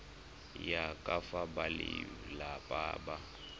ya ka fa balelapa ba